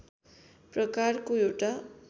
प्रकारको एउटा